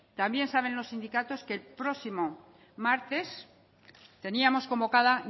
también saben los sindicatos que el próximo martes teníamos convocada